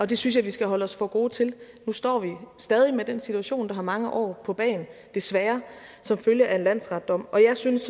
det synes jeg vi skal holde os for gode til nu står vi stadig med den situation der har mange år på bagen desværre som følge af en landsretsdom jeg synes